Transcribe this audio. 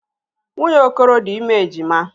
Nwunye Okoro dị ime ejima.